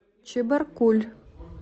чебаркуль